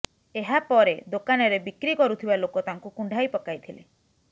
ଏହାପରେ ଦୋକାନରେ ବିକ୍ରି କରୁଥିବା ଲୋକ ତାଙ୍କୁ କୁଣ୍ଢାଇ ପକାଇଥିଲେ